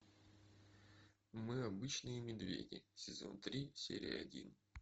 мы обычные медведи сезон три серия один